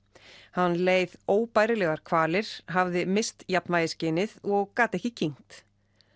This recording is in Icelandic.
hann leið óbærilegar kvalir hafði misst jafnvægisskynið og gat ekki kyngt